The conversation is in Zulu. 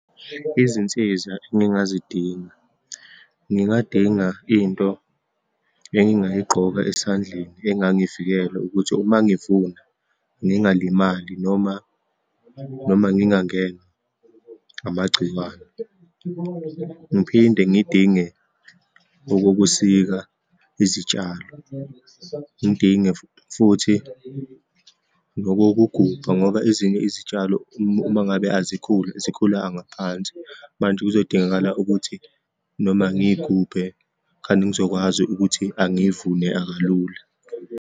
Izinsiza engingazidinga. Ngingadinga into engingayigqoka esandleni engangivikela ukuthi uma ngivuna ngingalimali, noma, noma ngingangenwa amagciwane, ngiphinde ngidinge okokusika izitshalo, ngidinge futhi nokokugubha ngoba ezinye izitshalo uma ngabe azikhuli, zikhula ngaphansi, manje kuzodingakala ukuthi noma ngiyigubhe khane ngizokwazi ukuthi angiyivune kulula.